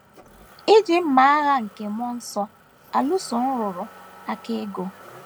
Iji Mma Agha nke Mmụọ Nsọ Alụso Nrụrụ Aka Ọgụ